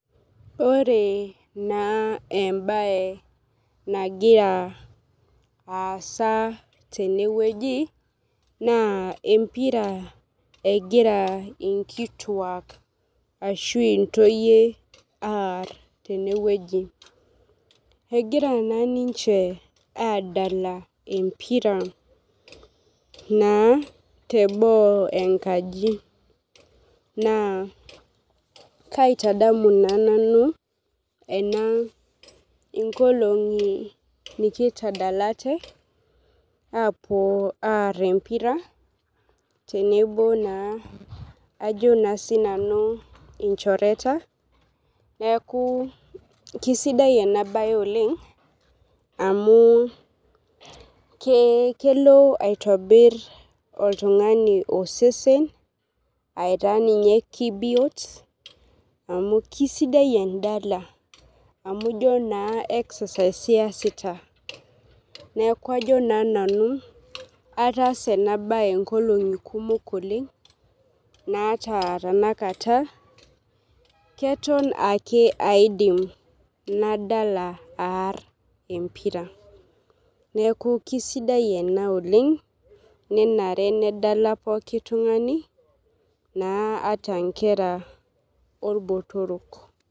Ore na embae nagira aasa tenewueji na empira egira nkituak ashu intoyie aar egira na ninche adala teboo enkaji na kaitadamu nanu ena inkolongi nikitadalate apuo ar empira tenebo olchororeta ikchoreta neaku kesidai amu kelo aitobir oltungani osesen aitaa ninye kebiot amu kesidai endala neaku ajo nanu ataasa enabae nkolongi kumok oleng naata tanakata ketok ake aidim nadala empira neaku kesidai ena oleng ata nkera orbotorok.